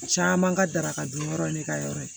Caman ka daraka dun yɔrɔ in ne ka yɔrɔ ye